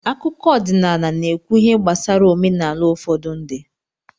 Akụkọ ọdịnala n'ekwu ihe gbasara omenala ufodu ndi